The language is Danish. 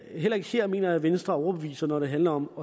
heller ikke her mener jeg at venstre overbeviser når det handler om